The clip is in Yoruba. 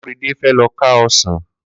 Korede fè lọ kà ọsan